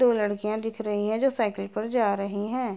दो लड़कियां दिख रही हैं जो साइकिल पर जा रही हैं।